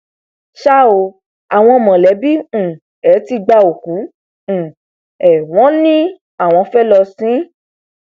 ṣá ò àwọn mọlẹbí um ẹ ti gba òkú um ẹ wọn láwọn fẹẹ lọ sìn ín